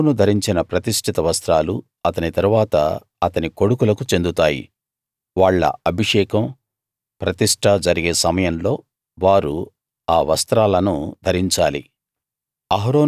అహరోను ధరించిన ప్రతిష్ఠిత వస్త్రాలు అతని తరువాత అతని కొడుకులకు చెందుతాయి వాళ్ళ అభిషేకం ప్రతిష్ట జరిగే సమయంలో వారు ఆ వస్త్రాలను ధరించాలి